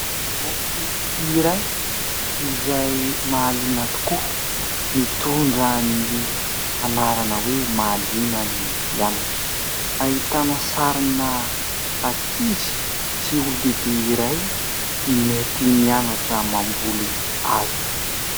Boky iray izay mahaliana tokoa, mitondra ny anarana hoe <<Mahaliana ny mianatra>>, ahitana sarina ankizy sy olon-dehibe iray mety mianatra mamboly hazo.